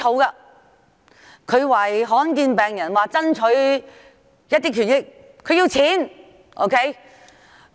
他要為罕見病患者爭取權益，希望得到撥款。